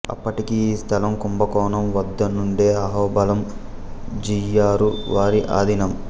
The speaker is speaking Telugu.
అప్పటికి ఈ స్థలం కుంభకోణం వద్దనుండే అహోబళం జియ్యరు వారి ఆధీనం